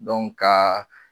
Dɔn kaa